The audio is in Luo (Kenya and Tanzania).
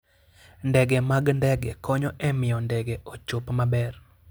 Ndege mag ndege konyo e miyo ndege ochop maber.